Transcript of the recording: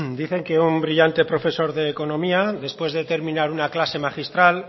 dicen que un brillante profesor de economía después de terminar una clase magistral